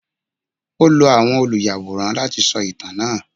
O lò àwọn oluyaworan lati sọ itan naa